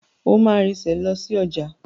O máa rinsẹ̀ lọ sí ọjà.